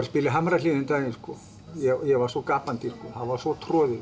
spila í Hamrahlíð um daginn og ég var svo gapandi það var svo troðið